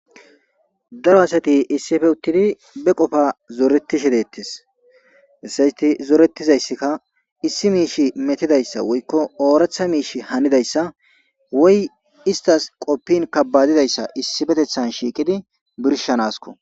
Daro assatti isippe uttidi be qofa zoretishshe detees izetti zorettizaysikka issi miishshi mettidayssa woykko oraththa miishshi hanidaysa woyi isttas qopin kabadidayssa issipetteththan shiqidi birshshanasikko